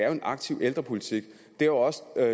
jo en aktiv ældrepolitik det er også